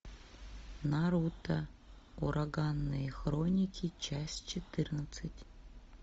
наруто ураганные хроники часть четырнадцать